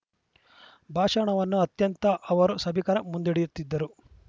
ಭಾಷಣವನ್ನು ಅತ್ಯಂತ ಅವರು ಸಭಿಕರ ಮುಂದ ಇಡಿಯುತ್ತಿದರು